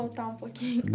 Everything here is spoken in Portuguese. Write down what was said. Voltar um pouquinho.